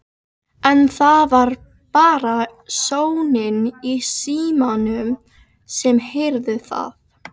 En það var bara sónninn í símanum sem heyrði það.